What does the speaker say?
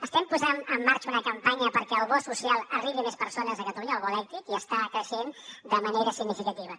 estem posant en marxa una campanya perquè el bo social arribi a més persones a catalunya el bo elèctric i està creixent de manera significativa